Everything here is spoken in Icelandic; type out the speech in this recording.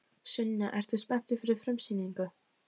Sunna: Ertu spenntur fyrir frumsýningu?